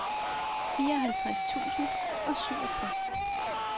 fireoghalvtreds tusind og syvogtres